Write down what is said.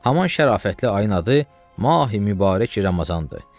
Haman şərafətli ayın adı mahi mübarək Ramazandır.